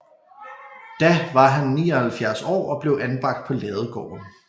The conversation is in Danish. Da var han 79 år og blev anbragt på Ladegården